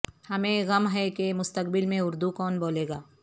ہمیں غم ہے کہ مستقبل میں اردو کون بولے گا